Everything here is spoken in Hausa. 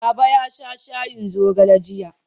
Baba ya sha shayin zogale jiya.